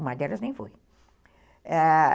Uma delas nem foi, ah...